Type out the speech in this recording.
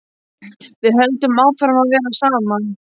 Við höldum áfram að vera saman.